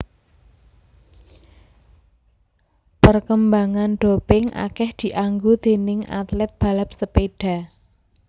Perkembangan doping akeh dianggo déning atlet balap sepeda